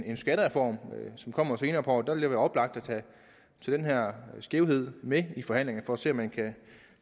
en skattereform som kommer senere på året og der vil oplagt at tage den her skævhed med i forhandlingerne for at se om man kan